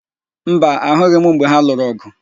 Mba, ahụghị m mgbe ha lụrụ ọ̀gụ̀.